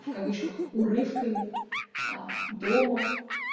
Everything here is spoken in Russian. в кавычках урывками аа дома